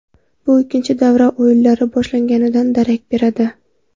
Bu ikkinchi davra o‘yinlari boshlanganidan darak beradi.